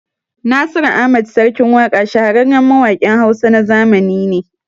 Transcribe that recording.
Nasiru Ahmad (Sarkin Waƙa) shahararren mawaƙin Hausa na zamani ne